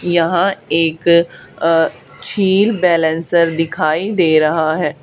यहां एक अ छिल बैलेंसर दिखाई दे रहा है।